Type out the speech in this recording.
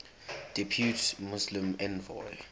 depute muslim envoy